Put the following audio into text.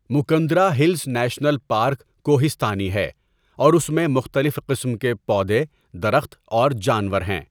Mukundra hills national park کوہِسْتانی ہے اور اس میں مختلف قسم کے پودے، درخت اور جانور ہیں۔